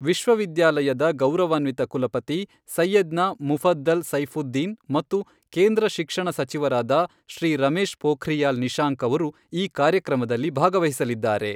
ವಿಶ್ವವಿದ್ಯಾಲಯದ ಗೌರವಾನ್ವಿತ ಕುಲಪತಿ ಸೈಯದ್ನಾ ಮುಫದ್ದಲ್ ಸೈಫುದ್ದೀನ್ ಮತ್ತು ಕೇಂದ್ರ ಶಿಕ್ಷಣ ಸಚಿವರಾದ ಶ್ರೀ ರಮೇಶ್ ಪೋಖ್ರಿಯಾಲ್ ನಿಶಾಂಕ್ ಅವರು, ಈ ಕಾರ್ಯಕ್ರಮದಲ್ಲಿ ಭಾಗವಹಿಸಲಿದ್ದಾರೆ.